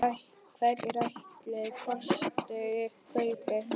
Hverjir ætli kosti kaupin?